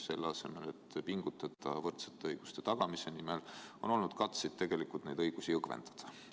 Selle asemel, et pingutada võrdsete õiguste tagamise nimel, on olnud katseid neid õigusi õgvendada.